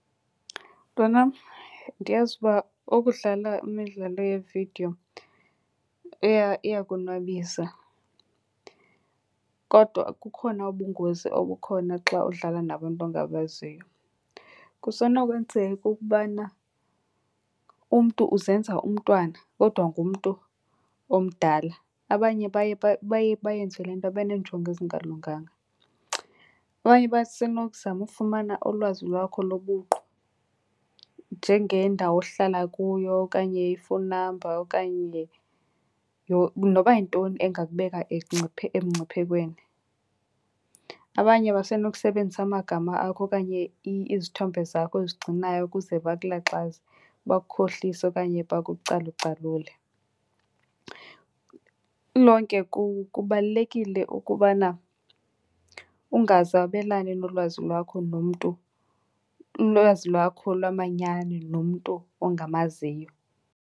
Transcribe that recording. Mntwanam, ndiyazi uba ukudlala imidlalo yevidiyo iyakonwabisa kodwa kukhona ubungozi obukhona xa udlala nabantu ongabaziyo. Kusenokwenzeka ukubana umntu uzenza umntwana kodwa ngumntu omdala. Abanye baye , baye bayenze le nto beneenjongo ezingalunganga. Abanye basenokuzama ufumana ulwazi lwakho lobuqu njengendawo ohlala kuyo okanye i-phone number okanye noba yintoni engakubeka emngciphekweni. Abanye basenokusebenzisa amagama akho okanye izithombe zakho ozigcinayo ukuze bakulaxaze, bakukhohlise okanye bakucalucalule. Lilonke kubalulekile ukubana ungaze wabelane nolwazi lwakho nomntu, ulwazi lwakho lwamanyani nomntu ongamaziyo.